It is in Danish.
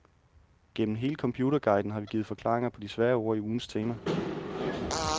Gennem hele computerguiden har vi givet forklaringer på de svære ord i ugens tema.